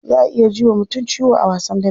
Za a iya ji wa mutum ciwo a wasan dambe.